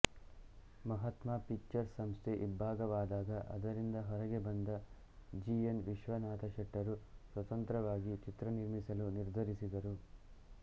Mahatma pictures ಸಂಸ್ಥೆ ಇಬ್ಭಾಗವಾದಾಗ ಅದರಿಂದ ಹೊರಗೆ ಬಂದ ಜಿ ಎನ್ ವಿಶ್ವನಾಥಶೆಟ್ಟರು ಸ್ವತಂತ್ರವಾಗಿ ಚಿತ್ರ ನಿರ್ಮಿಸಲು ನಿರ್ಧರಿಸಿದರು